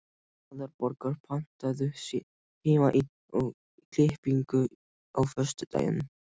Aðalborgar, pantaðu tíma í klippingu á föstudaginn.